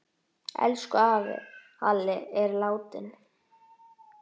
Elsku afi Halli er látinn.